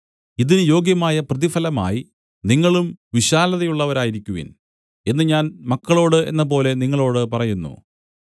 ഇതിന് യോഗ്യമായ പ്രതിഫലമായി നിങ്ങളും വിശാലതയുള്ളവരായിരിക്കുവിൻ എന്ന് ഞാൻ മക്കളോട് എന്നപോലെ നിങ്ങളോട് പറയുന്നു